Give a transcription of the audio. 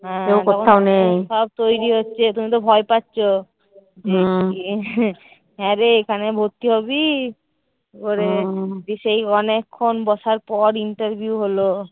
হ্যাঁ সব তৈরী হচ্ছে তুমি তো ভয় পাচ্ছো। হ্যাঁ রে এখানে ভর্তি হবি? করে সেই অনেক্ষন বসার পর interview হলো।